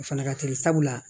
O fana ka teli sabula